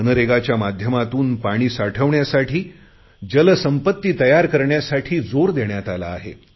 मनरेगाच्या माध्यमातून पाणी साठवण्यासाठी जलसंपत्ती तयार करण्यासाठी जोर देण्यात आला आहे